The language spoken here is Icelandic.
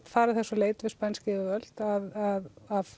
fara þess á leit við spænsk yfirvöld að